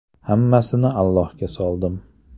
Hammasini Allohga soldim.